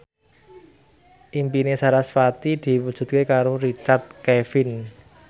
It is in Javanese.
impine sarasvati diwujudke karo Richard Kevin